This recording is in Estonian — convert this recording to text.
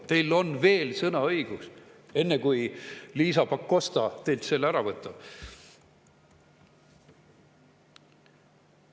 Teil on veel sõnaõigus, enne kui Liisa Pakosta teilt selle ära võtab.